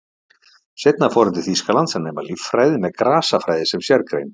Seinna fór hann til Þýskalands að nema líffræði með grasafræði sem sérgrein.